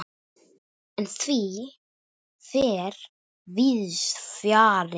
En því fer víðs fjarri.